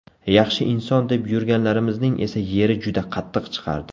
Yaxshi inson deb yurganlarimizning esa yeri juda qattiq chiqardi.